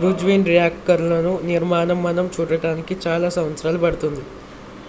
fusion రియాక్టర్లను నిర్మాణం మనం చూడటానికి చాలా సంవత్సరాలు పడుతుంది